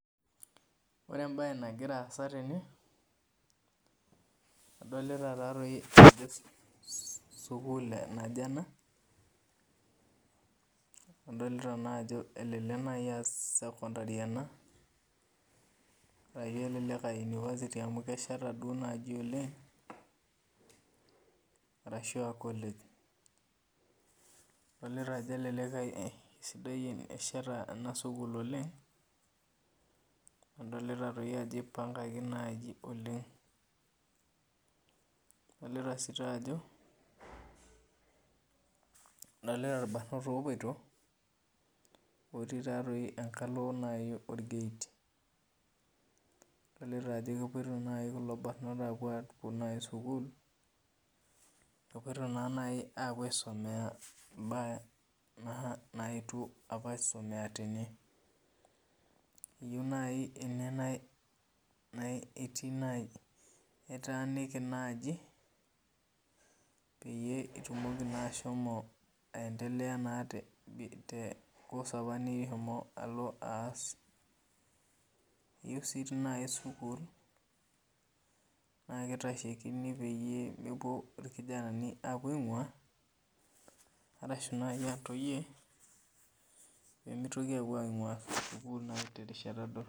Ore embae nagira aasa tene adolita ajo sukul naje ena adolita ajo elelek nai a sekondari ena elelek aa university amu kesheta nai oleng arashu a college adolta ajo kelek esheta enasukul oleng adolta ajo ipangaki oleng adolta orbarnot opoito otii enkalo enket adolta ajo kepuoito nai kulo bar not aisumie mbaa naetuo aisumia tene eyieu nai ene pitaaniki nai pitumoki ashomo aendelea naa te entoki nishomo aas iyieu si nai sukul na kitashekini pemepuo irkijanai apuo aingua ashu ntoyie pemitoki apuo aingua sukul terishata dorop.